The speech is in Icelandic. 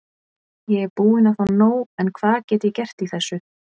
Ég er búinn að fá nóg en hvað get ég gert í þessu?